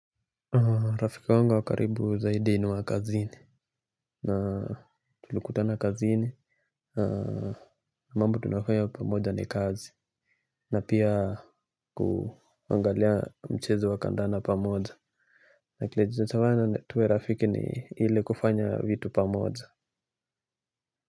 Rafki wangu wa karibu zaidi ni wa kazini na tulikutana kazini. Na mambo tunayofanya pamoja ni kazi. Na pia, kuangalia mchezo wa kandanda pamoja. Na kilititowana tuwe rafiki ni ile kufanya vitu pamoja.